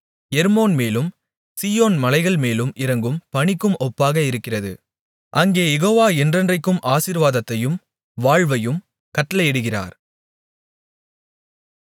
எர்மோன்மேலும் Zion மலைகள்மேலும் இறங்கும் பனிக்கும் ஒப்பாக இருக்கிறது அங்கே யெகோவா என்றென்றைக்கும் ஆசீர்வாதத்தையும் வாழ்வையும் கட்டளையிடுகிறார்